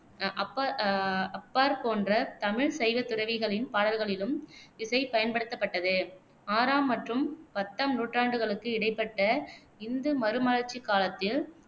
அஹ் ஆ அப்பார் போன்ற தமிழ் சைவ துறவிகளின் பாடல்களிலும் இசை பயன்படுத்தப்பட்டது. ஆறாம் மற்றும் பத்தாம் நூற்றாண்டுகளுக்கு இடைப்பட்ட இந்து மறுமலர்ச்சிக் காலத்தில்